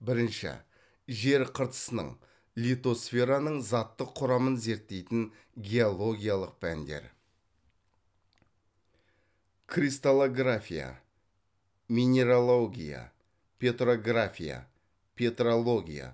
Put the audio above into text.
бірінші жер қыртысының литосфераның заттық құрамын зерттейтін геологиялық пәндер кристаллография минералогия петрография петрология